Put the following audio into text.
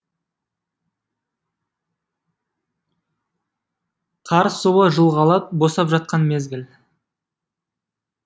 қар суы жылғалап босап жатқан мезгіл